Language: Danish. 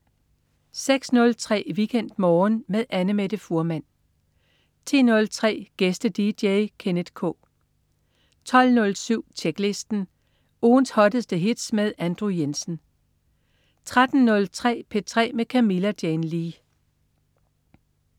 06.03 WeekendMorgen med Annamette Fuhrmann 10.03 Gæste-dj. Kenneth K 12.07 Tjeklisten. Ugens hotteste hits med Andrew Jensen 13.03 P3 med Camilla Jane Lea